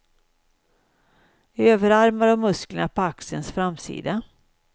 Överarmar och musklerna på axelns framsida.